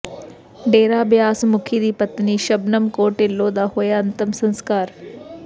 ਡੇਰਾ ਬਿਆਸ ਮੁਖੀ ਦੀ ਪਤਨੀ ਸ਼ਬਨਮ ਕੌਰ ਢਿੱਲੋਂ ਦਾ ਹੋਇਆ ਅੰਤਿਮ ਸਸਕਾਰ